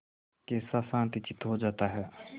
कैसा शांतचित्त हो जाता है